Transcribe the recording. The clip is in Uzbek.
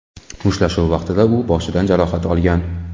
Mushtlashuv vaqtida u boshidan jarohat olgan.